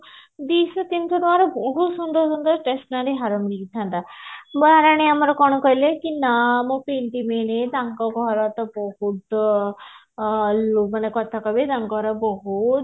ଦିଶହ ତିନିଶହ ଟଙ୍କାର ବହୁତ ସୁନ୍ଦର ସୁନ୍ଦର stationary ହାର ମିଳିଥାନ୍ତା ମହାରାଣୀ ଆମର କଣ କହିଲେ କି ନା ମୁଁ ପିନ୍ଧି ବିନି ତାଙ୍କ ଘର ତ ବହୁତ ଅ ମାନେ କଥା କଣ କି ତାଙ୍କର ବହୁତ